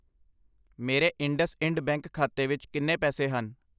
ਮੇਰੇ IndusInd bank ਖਾਤੇ ਵਿੱਚ ਕਿੰਨੇ ਪੈਸੇ ਹਨ?